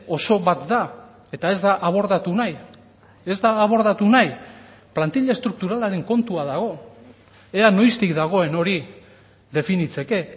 oso bat da eta ez da abordatu nahi ez da abordatu nahi plantilla estrukturalaren kontua dago ea noiztik dagoen hori definitzeke